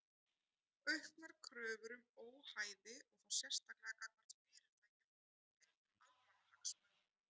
Auknar kröfur um óhæði og þá sérstaklega gagnvart fyrirtækjum tengdum almannahagsmunum.